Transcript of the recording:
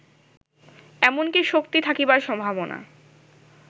এমন কি শক্তি থাকিবার সম্ভাবনা